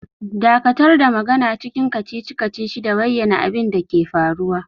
Dakatar da magana cikin kacici-kacici da bayyana abin da ke faruwa!